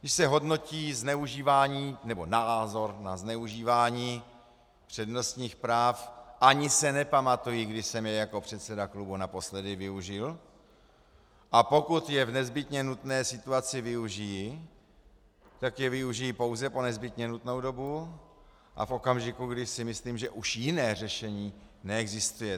Když se hodnotí zneužívání nebo názor na zneužívání přednostních práv, ani se nepamatuji, kdy jsem jej jako předseda klubu naposledy využil, a pokud je v nezbytně nutné situaci využiji, tak je využiji pouze po nezbytně nutnou dobu a v okamžiku, kdy si myslím, že už jiné řešení neexistuje.